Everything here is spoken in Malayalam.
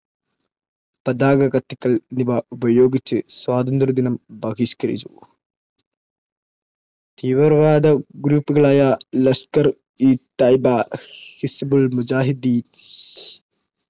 പതാക കത്തിക്കൽ എന്നിവ ഉപയോഗിച്ച് സ്വാതന്ത്ര്യദിനം ബഹിഷ്കരിച്ചു. തീവ്രവാദ group കളായ ലഷ്കർ-ഇ-തായ്‌ബ, ഹിസ്ബുൾ മുജാഹിദ്ദീൻ,